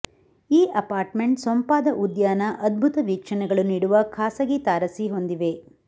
ಈ ಅಪಾರ್ಟ್ಮೆಂಟ್ ಸೊಂಪಾದ ಉದ್ಯಾನ ಅದ್ಭುತ ವೀಕ್ಷಣೆಗಳು ನೀಡುವ ಖಾಸಗಿ ತಾರಸಿ ಹೊಂದಿವೆ